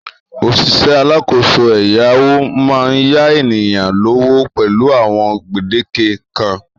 Òṣìṣẹ́ alákòóso ẹ̀yáwó máa ń yá ènìyàn lówó pẹ̀lú àwọn gbèdéke kan